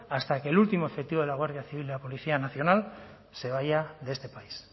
hasta que el último efectivo de la guardia civil y la policía nacional se vaya de este país